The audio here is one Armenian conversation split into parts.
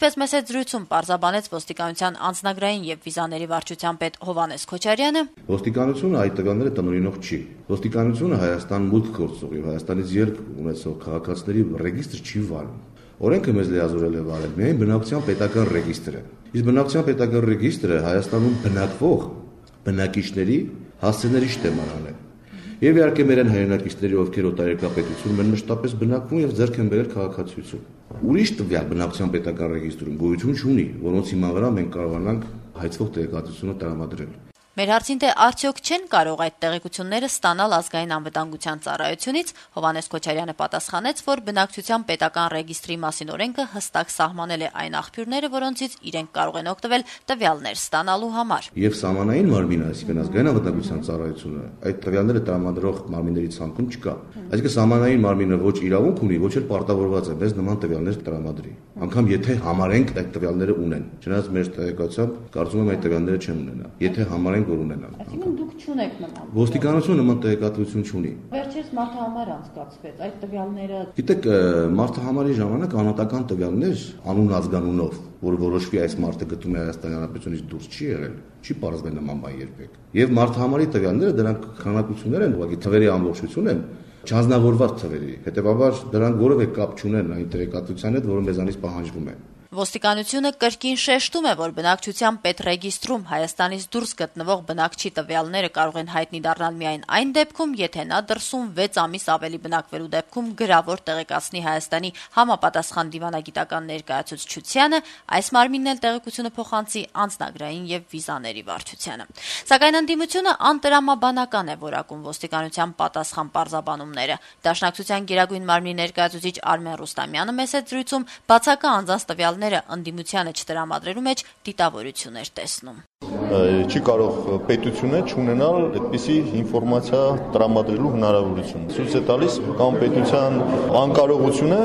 ռադիոկայանի հետ զրույցում Անձնագրային եւ վիզաների վարչության պետ Հովհաննես Քոչարյանը պարզաբանեց. - «Ոստիկանությունը այդ տվյալները տնօրինող չի: Ոստիկանությունը Հայաստան մուտք գործող եւ Հայաստանից ելք ունեցող քաղաքացիների ռեգիստր չի վարում: Օրենքը մեզ լիազորել է վարել միայն բնակչության ռեգիստրը: Բնակչության պետական ռեգիստրը Հայաստանում բնակվող բնակիչների հասցեների շտեմարան է: Եվ իհարկե` մեր այն հայրենակիցների, ովքեր օտարերկրյա պետությունում են մշտապես բնակվում եւ ձեռք են բերել քաղաքացիություն: Ուրիշ տվյալ բնակչության պետական ռեգիստրում գոյություն չունի»: Հարցին, թե չեն կարող արդյոք այդ տեղեկությունները ստանալ Ազգային անվտանգության ծառայությունից, Քոչարյանը պատասխանեց, թե օրենքով հստակ սահմանված են այն աղբյուրները, որոնցից իրենք կարող են օգտվել տվյալներ ստանալու համար. - «Եվ Ազգային անվտանգության ծառայությունն այդ տվյալները տրամադրող մարմինների ցանկում չկա»: Դիտարկմանը, թե կարելի էր օգտվել վերջերս անցկացված մարդահամարի տվյալներից, պաշտոնյան արձագանքեց. - «Մարդահամարի ժամանակ անհատական տվյալներ` անուն-ազգանունով, որ որոշվի` այս մարդը գտնվում է Հայաստանի Հանրապետություն դուրս, չի եղել, չի պարզվել նման բան երբեք: Եվ մարդահամարի տվյալները դրանք քանակություններ են ուղղակի, թվերի ամբողջություն են, չանձնավորված թվերի, հետեւաբար` դրանք որեւէ կապ չունեն այն տեղեկատվության հետ, որ մեզանից պահանջվում է»: Ոստիկանությունը կրկին շեշտում է, որ բնակչության պետռեգիստրում Հայաստանից դուրս գտնվող բնակչի տվյալները կարող են հայտնի դառնալ միայն այն դեպքում, եթե նա դրսում 6 ամսից ավելի բնակվելու դեպքում գրավոր տեղեկացնի Հայաստանի համապատասխան դիվանագիտական ներկայացուցչությանը, այս մարմինն էլ տեղեկությունը փոխանցի Անձնագրային եւ վիզաների վարչությանը: Ընդդիմությունը, սակայն, անտրամաբանական է որակում Ոստիկանության պարզաբանումները: Դաշնակցության Գերագույն մարմնի ներկայացուցիչ Արմեն Ռուստամյանը «Ազատություն» ռադիոկայանի հետ զրույցում ասաց. - «Չի կարող պետությունը չունենալ այդպիսի ինֆորմացիա տրամադրելու հնարավորություն: Ցույց է տալիս կա’մ պետության անկարողությունը,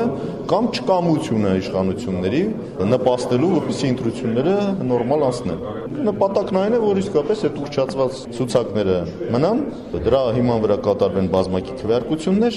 կա’մ չկամությունը իշխանությունների` նպաստելու, որպեսզի ընտրությունները նորմալ անցնեն: Նպատակն այն է, որ իսկապես այդ ուռճացված ցուցակները մնան, դրա հիման վրա կատարվեն բազմակի քվեարկություններ»: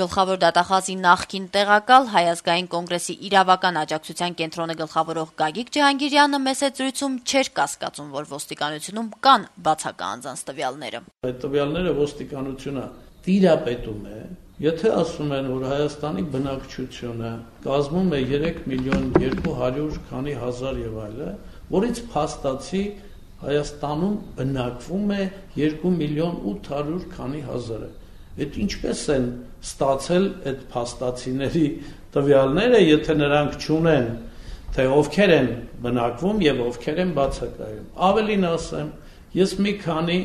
Գլխավոր դատախազի նախկին տեղակալ, Հայ ազգային կոնգրեսի իրավական աջակցության կենտրոնը գլխավորող Գագիկ Ջհանգիրյանը «Ազատություն» ռադիոկայանի հետ զրույցում չէր կասկածում, որ Ոստիկանությունում կան բացակա անձանց տվյալները. - «Այդ տվյալներին Ոստիկանությունը տիրապետում է: Եթե ասում են, որ Հայաստանի բնակչությունը կազմում է 3 միլիոն 200 քանի հազար եւ այլն, որից փաստացի Հայաստանում բնակվում է 2 միլիոն 800 քանի հազարը… Այդ ինչպե՞ս են ստացել այդ տվյալները, եթե նրանք չունեն, թե ովքեր են բնակվում եւ ովքեր են բացակայում: Ավելին ասեմ` ես մի քանի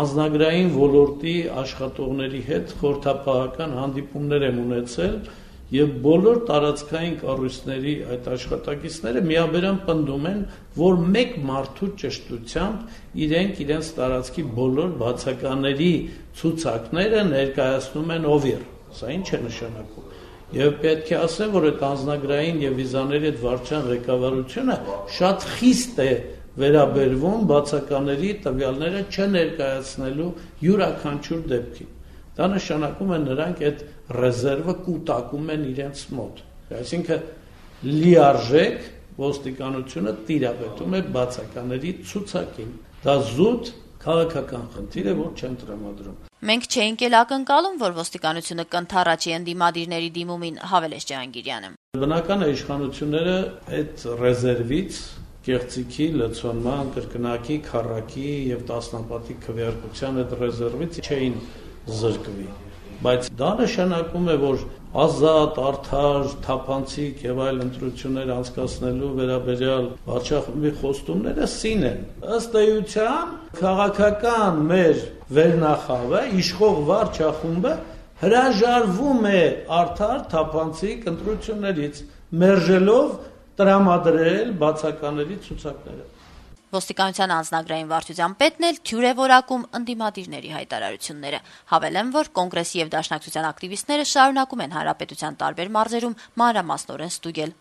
անձնագրային ոլորտի աշխատողների հետ խորհրդապահական հանդիպումներ եմ ունեցել, եւ բոլոր տարածքային կառույցների այդ աշխատակիցները միաբերան պնդում են, որ մեկ մարդու ճշտությամբ իրենք իրենց տարածքի բոլոր բացակաների ցուցակները ներկայացնում են ՕՎԻՌ: Սա ի՞նչ է նշանակում… Եվ պետք է ասեմ, որ Անձնագրային եւ վիզաների այդ վարչությունը շատ խիստ է վերաբերվում բացակաների տվյալները չներկայացնելու յուրաքանչուր դեպքի: Դա նշանակում է` նրանք այդ ռեզերվը կուտակում են իրենց մոտ: Այսինքն` լիարժեք Ոստիկանությունը տիրապետում է բացակաների ցուցակին: Դա զուտ քաղաքական խնդիր է, որ չեն տրամադրում»: Ջհանգիրյանը հավելեց, որ իրենց չէին ակնկալում, թե Ոստիկանությունը կընդառաջի իրենց դիմումին. - «Բնական է, որ իշխանությունները այդ ռեզերվից, կեղծիքի, լցոնման, կրկնակի, քառակի եւ տասնապատիկ քվեակության այդ ռեզերվից չէին զրկվի: Դա նշանակում է, որ ազատ, արդար, թափանցիկ ընտրություններ անցկացնելու վերաբերյալ վարչախմբի խոստումները սին են: Ըստ էության` քաղաքական մեր վերնախավը, իշխող վարչախումբը հրաժարվում է արդար, թափանցիկ ընտրություններից` մերժելով տրամադրել բացակաների ցուցակները»: Ոստիկանության անձնագրային վարչության պետն էլ թյուր է որակում ընդդիմադիրների հայտարարությունները: Հավելենք, որ Կոնգրեսի եւ Դաշնակցության ակտիվիստները շարունակում են երկրի տարբեր մարզերում մանրամասնորեն ստուգել